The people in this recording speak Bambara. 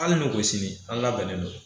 Hali n'u ko sini an labɛnnen don